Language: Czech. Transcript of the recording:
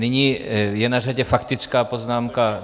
Nyní je na řadě faktická poznámka.